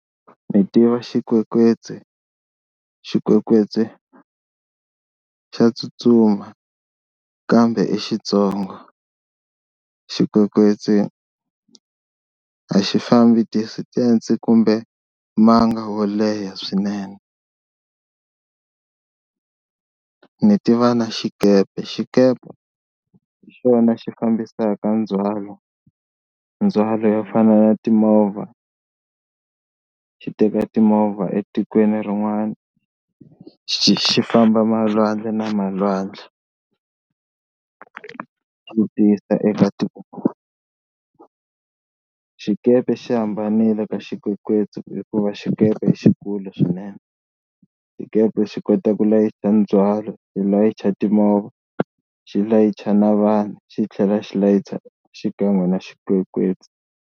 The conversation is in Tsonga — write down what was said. Ni tiva xikwekwetsu, xikwekwetsu xa tsutsuma kambe i xitsongo, xikwekwetsu a xi fambi distance kumbe manga wo leha swinene. Ni tiva na xikepe, xikepe hi xona xi fambisaka ndzhwalo ndzhwalo yo fana na timovha xi teka timovha etikweni rin'wana xi xi famba malwandle na malwandle xi ti yisa eka xikepe xi hambanile ka xikwekwetsu hikuva xikepe xikulu swinene, xikepe xi kota ku layicha ndzhwalo, xi layicha timovha, xi layicha na vanhu xi tlhela xi layicha xikan'we na xikwekwetsu.